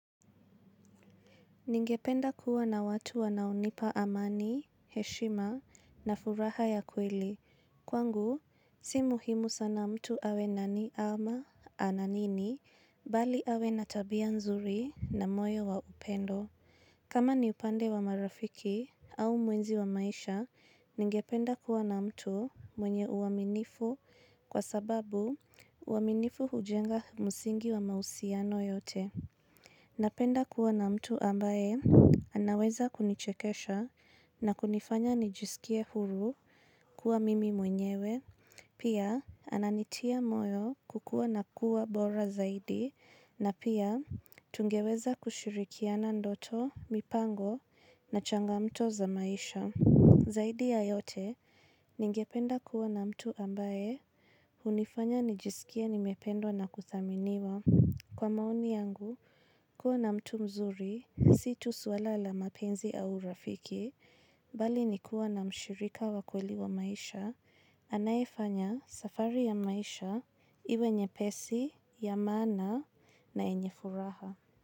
Ningependa kuwa na watu wanaonipa amani, heshima na furaha ya kweli. Kwangu, si muhimu sana mtu awe nani ama ana nini, bali awe na tabia nzuri na moyo wa upendo. Kama ni upande wa marafiki au muenzi wa maisha, ningependa kuwa na mtu mwenye uaminifu kwa sababu uaminifu hujenga musingi wa mausiano yote. Napenda kuwa na mtu ambaye anaweza kunichekesha na kunifanya nijisikie huru kuwa mimi mwenyewe. Pia ananitia moyo kukua na kuwa bora zaidi na pia tungeweza kushirikiana ndoto, mipango na changamto za maisha. Zaidi ya yote ningependa kuwa na mtu ambaye unifanya nijisikie nimependwa na kuthaminiwa. Kwa maoni yangu, kuwa na mtu mzuri, si tu suala la mapenzi au urafiki, bali ni kuwa na mshirika wa kweli wa maisha, anaefanya safari ya maisha iwe nyepesi, ya maana na yenye furaha.